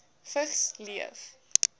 vigs leef